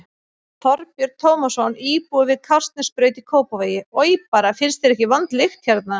Þorbjörn Tómasson, íbúi við Kársnesbraut í Kópavogi: Oj bara, finnst þér ekki vond lykt hérna?